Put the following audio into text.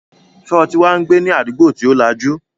Sọ ti wá ń gbé ní àdúgbò tí ó lajú?